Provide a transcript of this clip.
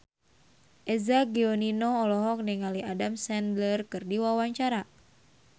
Eza Gionino olohok ningali Adam Sandler keur diwawancara